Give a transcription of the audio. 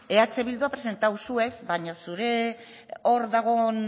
eh bildu ha presentado zu ez baino zure hor dagon